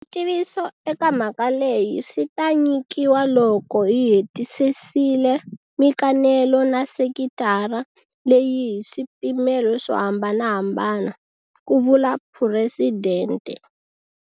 Switiviso eka mhaka leyi swi ta nyikiwa loko hi hetisisile mikanelo na sekitara leyi hi swipimelo swo hambanahambana, ku vula Phuresidente.